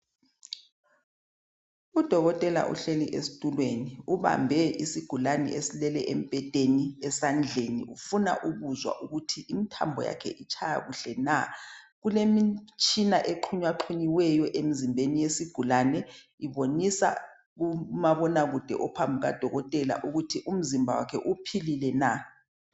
Udokotela uhleli esitulweni. Ubambe isigulane esilele embhedeni esandleni, ufuna ukuzwa ukuthi imithambo yakhe itshaya kuhle na? Kulemitshina exhunyaxhunyiweyo, emzimbeni wesigulane, ibonisa kumabonakude, ophambi kukadokotela ukuthi umzimba wakhe uphilile na?